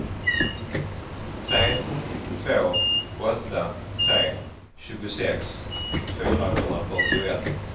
tre två åtta tre tjugosex fyrahundrafyrtioett